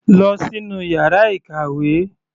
Lọ sínú yàrá ìkàwé.